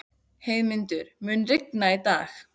Heiðmundur, mun rigna í dag?